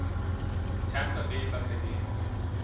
tampa bay buccaneers